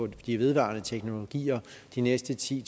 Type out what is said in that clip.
de vedvarende teknologier de næste ti